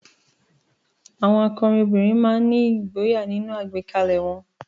Àwọn akọrin obìnrin náà ní ìgboyà nínú àgbékalẹ̀ won